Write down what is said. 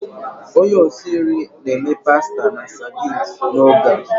Onye osi nri na-eme pasta na sardines n'oge a.